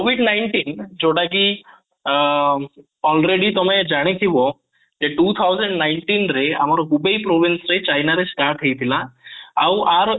covid -nineteen ଯୋଉଟା କି ଆଁ already ତମେ ଜାଣିଥିବ କି two thousand nineteen ରେ ଆମର ଚାଇନା ରେ start ହେଇଥିଲା ଆଉ ୟାର